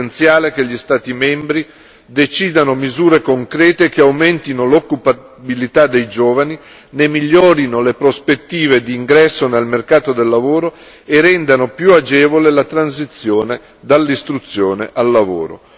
È essenziale che gli Stati membri decidano misure concrete, che aumentino l'occupabilità dei giovani, ne migliorino le prospettive di ingresso nel mercato del lavoro e rendano più agevole la transizione dall'istruzione al lavoro.